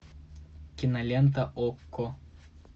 кинолента окко